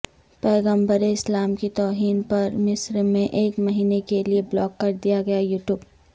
پیغمبر اسلام کی توہین پر مصر میں ایک مہینے کیلئے بلاک کردیا گیا یو ٹیوب